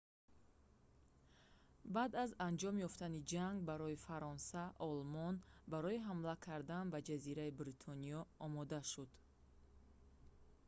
баъд аз анҷом ёфтани ҷанг барои фаронса олмон барои ҳамла кардан ба ҷазираи бритониё омода шуд